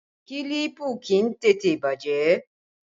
Kílípù kì í tètè bàjẹ́